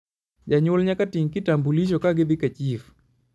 janyuol nyaka ting kitambulisho ka gidhi ka chif